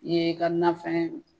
i ye i ka nafɛn